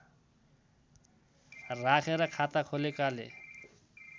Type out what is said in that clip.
राखेर खाता खोलेकाले